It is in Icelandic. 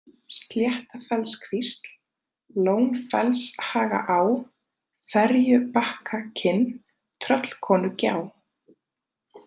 Sléttafellskvísl, Lónfellshagaá, Ferjubakkakinn, Tröllkonugjá